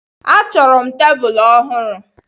Achọrọ m tebụl ọhụrụ.